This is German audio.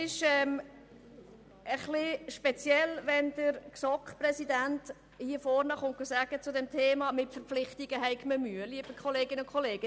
Ich finde es eigenartig, wenn der Präsident der GSoK vor dem Plenum erklärt, man habe Mühe mit Verpflichtungen.